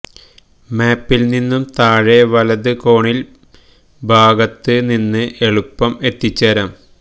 മാപ്പിൽ നിന്നും താഴെ വലത് കോണിൽ ഭാഗത്ത് നിന്ന് എളുപ്പം എത്തിച്ചേരാം